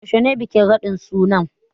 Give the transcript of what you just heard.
Yaushe ne bikin raɗin sunan?